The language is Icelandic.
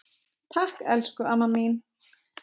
Takk, elsku amma mín.